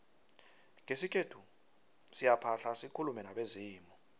ngesikhethu siyaphahla sikulume nabezimu